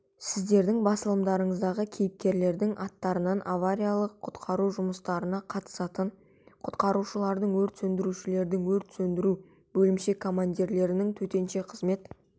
сіздердің басылымдарыңыздағы кейіпкерлердің аттарынан авариялық-құтқару жұмыстарына қатысатын құтқарушылардың өрт сөндірушілердің өрт сөндіру бөлімше командирлерінің төтенше қызмет